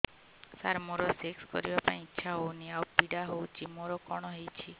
ସାର ମୋର ସେକ୍ସ କରିବା ପାଇଁ ଇଚ୍ଛା ହଉନି ଆଉ ପୀଡା ହଉଚି ମୋର କଣ ହେଇଛି